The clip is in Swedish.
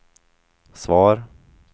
svar